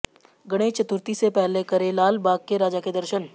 गणेश चतुर्थी से पहले करें लालबाग के राजा के दर्शन